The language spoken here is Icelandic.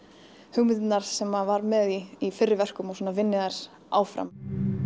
hugmyndirnar sem maður var með í í fyrri verkum og svona vinni þær áfram